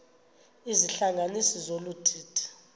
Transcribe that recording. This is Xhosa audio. izihlanganisi zolu didi